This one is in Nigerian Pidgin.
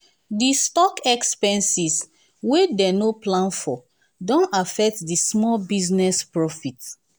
the stock expenses wey dey no plan for don affect di small business profit.